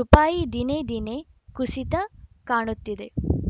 ರುಪಾಯಿ ದಿನೇ ದಿನೇ ಕುಸಿತ ಕಾಣುತ್ತಿದೆ